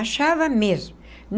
Achava mesmo.